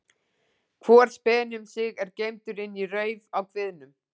Hvor speni um sig er geymdur inni í rauf á kviðnum.